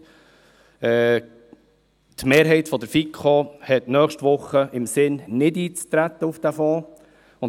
Die Mehrheit der FiKo hat im Sinn, nächste Woche nicht auf diesen Fonds einzutreten.